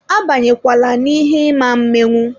A banye kwala n'ihe ị ma menwu.